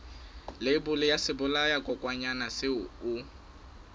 leibole ya sebolayakokwanyana seo o